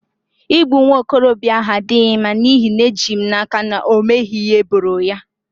Igbu nwa okorobịa ahụ adịghị mma n'ihi na eji m n'aka na o meghị ihe eboro ya